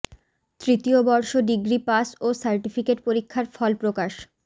তৃতীয় বর্ষ degree pass ও সার্টিফিকেট পরীক্ষার ফল প্রকাশ